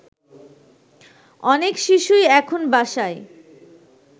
অনেক শিশুই এখন বাসায়